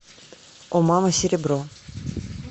о мама серебро